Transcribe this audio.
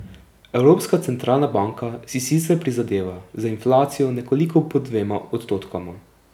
Evropska centralna banka si sicer prizadeva za inflacijo nekoliko pod dvema odstotkoma.